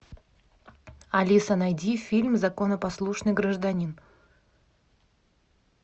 алиса найди фильм законопослушный гражданин